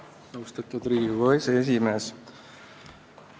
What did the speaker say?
Austatud Riigikogu aseesimees!